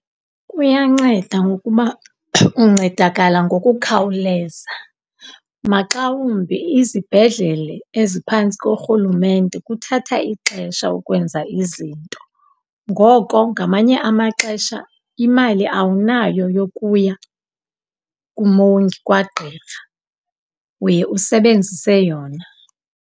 Kuyanceda ngokuba uncedakala ngokukhawuleza. Maxa wumbi izibhedlela eziphantsi korhulumente kuthatha ixesha ukwenza izinto. Ngoko, ngamanye amaxesha imali awunayo yokuya kumongi kwagqirha, uye usebenzise yona.